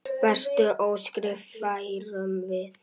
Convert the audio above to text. Bestu óskir færum við.